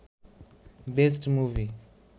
best movie